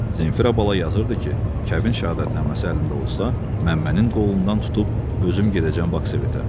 Zenfira bala yazırdı ki, kəbin şəhadətnaməsi əlində olsa, Məmmənin qolundan tutub özüm gedəcəm Baksovetə.